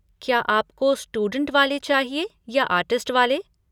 क्या आपको स्टूडेंट वाले चाहिए या आर्टिस्ट वाले?